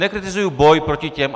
Nekritizuju boj proti těm...